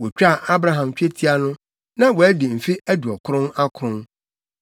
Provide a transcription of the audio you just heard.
Wotwaa Abraham twetia no, na wadi mfe aduɔkron akron.